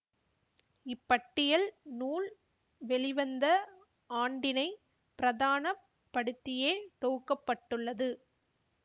இப்பட்டியல் நூல் வெளிவந்த ஆண்டினை பிரதான படுத்தியே தொகுக்க பட்டுள்ளது